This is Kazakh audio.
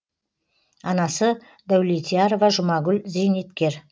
анасы дәулетьярова жұмагүл зейнеткер